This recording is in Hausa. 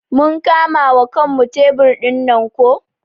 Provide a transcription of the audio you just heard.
Mun kama wa kanmu tebur dinnan ko.